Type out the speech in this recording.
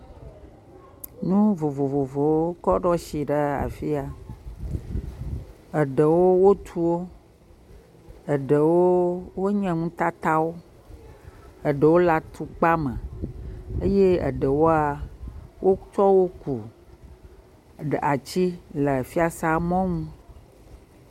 Nu vovovowo kɔ ɖo asi ɖe afia, eɖewo wotu wo, eɖewo wonye nutatawo, eɖewo le atukpa me eye eɖewoa wokɔ wo ku ati le fiasea mɔnu.